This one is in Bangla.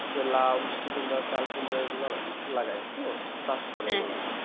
যে লাও মিষ্টি কুমড়া চাল কুমড়া এগুলো লালাগায় চাষ করার জন্য